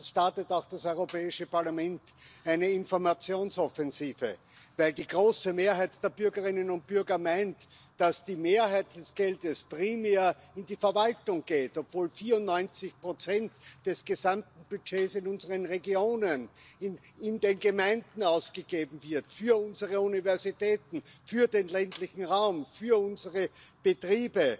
startet das Europäische Parlament auch eine Informationsoffensive, weil die große Mehrheit der Bürgerinnen und Bürger meint, dass die Mehrheit des Geldes primär in die Verwaltung geht, obwohl 94 des gesamten Budgets in unseren Regionen, in den Gemeinden ausgegeben werden für unsere Universitäten, für den ländlichen Raum, für unsere Betriebe,